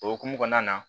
O hokumu kɔnɔna na